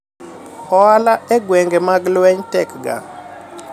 ohala e gweng'e mag lweny tek ga